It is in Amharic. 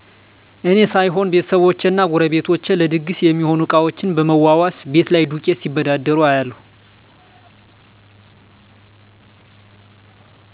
እኔ ሳይሆን ቤተሰቦቸ እና ጎረቤቶቸ ለድግስ ሚሆኑ እቃዎችን ብመዋዋስ፣ ቤት ላይ ዱቄት ሲበዳደሩ እያለሁ።